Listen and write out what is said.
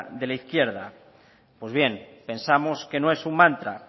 de la izquierda pues bien pensamos que no es un mantra